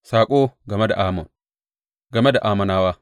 Saƙo game da Ammon Game da Ammonawa.